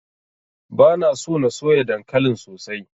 Bana so na soya dankalin sosai.